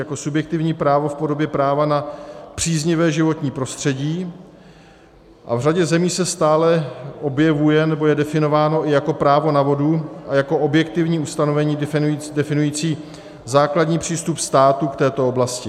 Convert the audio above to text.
Jako subjektivní právo v podobě práva na příznivé životní prostředí, a v řadě zemí se stále objevuje, nebo je definováno, i jako právo na vodu, a jako objektivní ustanovení definující základní přístup státu k této oblasti.